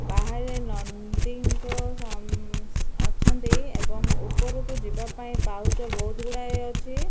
ବାହାରେ ନନ୍ଦୀଙ୍କୁ ସମ୍ ଅଛନ୍ତି ଏବଂ ଉପରକୁ ଯିବା ପାଇଁ ପାହୁଛ ବହୁତ୍ ଗୁଡ଼ାଏ ଅଛି।